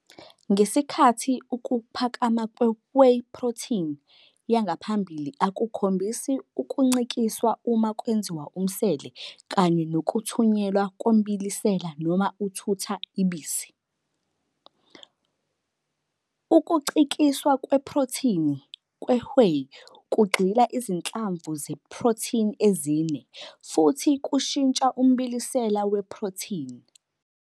Ngesikhathi ukuphakama kwe-whey protein yangaphambili akukhombisi ukuncikiswa uma kwenziwa umsele kanye nokuthunyelwa kombilisela noma uthutha i-bisi, ukucikiswa kweprothini kwe-whey kugxila izinhlamvu ze-protein ezine, futhi kushintsha umbilisela we-protein.